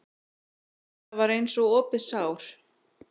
Það var eins og opið sár.